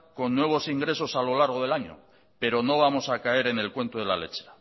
con nuevos ingresos a lo largo del año pero no vamos a caer en el cuento de la lechera